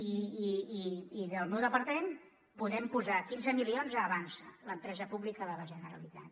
i del meu departament podem posar quinze milions a avançsa l’empresa pública de la generalitat